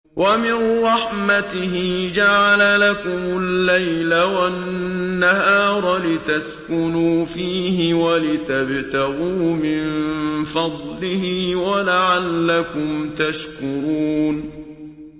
وَمِن رَّحْمَتِهِ جَعَلَ لَكُمُ اللَّيْلَ وَالنَّهَارَ لِتَسْكُنُوا فِيهِ وَلِتَبْتَغُوا مِن فَضْلِهِ وَلَعَلَّكُمْ تَشْكُرُونَ